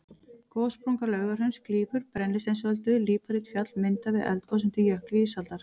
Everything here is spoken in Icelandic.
Gossprunga Laugahrauns klýfur Brennisteinsöldu, líparítfjall myndað við eldgos undir jökli ísaldar.